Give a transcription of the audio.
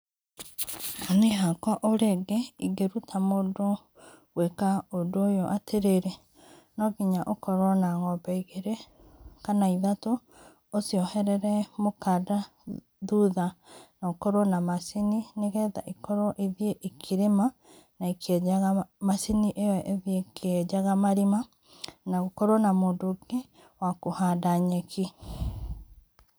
Niĩ hakwa o rĩngĩ ingĩruta mũndũ gwĩka ũndũ ũyũ atĩrĩrĩ, no nginya ũkorwo na ng'ombe igĩrĩ kana ithatũ, ũcioherere mũkanda thutha na ũkorwo na macini, nĩgetha ĩkorwo ĩthiĩ ĩkĩrĩma na ĩkĩenjaga, macini ĩo ĩthiĩ ĩkĩenjaga marima na gũkorwo na mũndũ ũngĩ wa kũhanda nyeki.